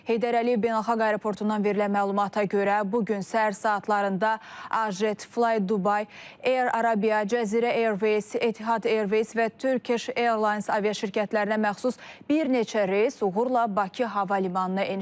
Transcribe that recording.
Heydər Əliyev Beynəlxalq Aeroportundan verilən məlumata görə, bu gün səhər saatlarında Ajet, Fly Dubai, Air Arabia, Cəzirə Airways, Etihad Airways və Turkish Airlines aviaşirkətlərinə məxsus bir neçə reys uğurla Bakı hava limanına eniş edib.